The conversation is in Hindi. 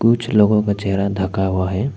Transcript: कुछ लोगों का चेहरा ढका हुआ है।